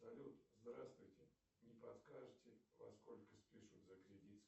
салют здравствуйте не подскажите во сколько спишут за кредит